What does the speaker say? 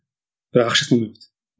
бірақ ақшасын алмай қойды